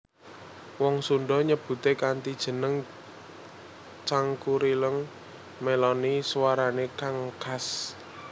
Wong Sunda nyebuté kanthi jeneng Cangkurileung mèloni suwarané kang khas